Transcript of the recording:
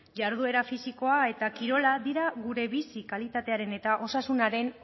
jarduera fisikoa eta kirola dira gure bi kalitatearen eta osasunaren